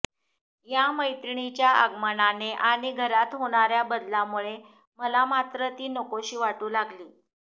या मैत्रीणीच्या आगमनाने आणि घरात होणाऱ्या बदलामुळे मला मात्र ती नकोशी वाटू लागली